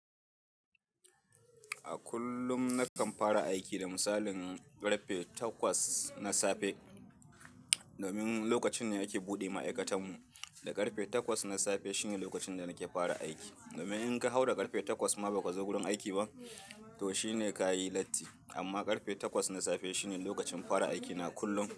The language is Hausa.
A kullum nakan fara aiki da misalin ƙarfe takwas na safe. Domin lokacin ne ake buɗe ma'aikatan mu. Da ƙarfe takwas na safe shine lokacin da nake fara aiki. Domin in ka haura ƙarfe takwas ma ba ka zo gurin aiki ba, to shine ka yi latti. Amma ƙarfe takwas na safe shine lokacin fara aiki na kullum.